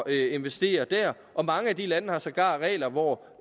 og investere der og mange af de lande har sågar regler hvor